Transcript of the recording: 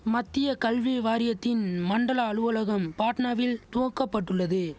மத்திய கல்வி வாரியத்தின் மண்டல அலுவலகம் பாட்னாவில் துவக்கப்பட்டுள்ளது